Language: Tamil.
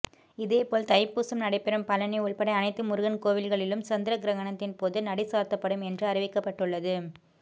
இதேபோல் தைப்பூசம் நடைபெறும் பழனி உள்பட அனைத்து முருகன் கோவில்களிலும் சந்திர கிரகணத்தின்போது நடை சாத்தப்படும் என்று அறிவிக்கப்பட்டுள்ளது